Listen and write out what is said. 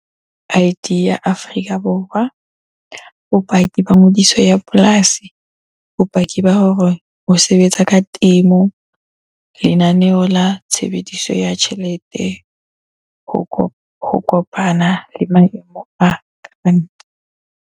I_D ya Afrika Borwa, bopaki ba ngodiso ya polasi, bopaki ba hore ho sebetsa ka temo, lenaneo la tshebediso ya tjhelete, ho kopana le maemo a .